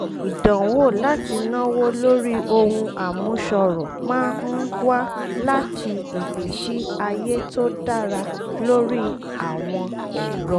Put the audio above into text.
ìdanwo láti náwó lórí ohun àmúṣọrọ̀ máa ń wá láti ìgbésí ayé tó dára lórí àwọn ẹ̀rọ